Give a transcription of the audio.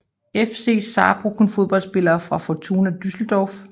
FC Saarbrücken Fodboldspillere fra Fortuna Düsseldorf